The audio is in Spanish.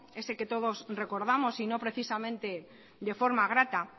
ese que todos recordamos y no precisamente de forma grata